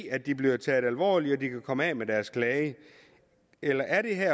at de bliver taget alvorligt og hvor de kan komme af med deres klage eller er det her